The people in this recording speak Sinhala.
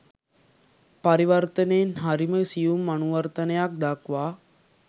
පරිවර්තනයෙන් හරිම සියුම් අනුවර්තනයක් දක්වා